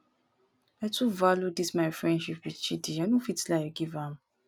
i too value dis my friendship with chidi i no fit lie give am